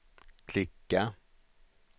klicka